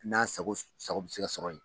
N'a sago sago bɛ se ka sɔrɔ yen.